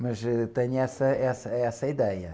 Mas, ãh, tenho essa, essa, essa ideia.